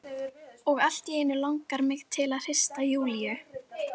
Og allt í einu langar mig til að hrista Júlíu.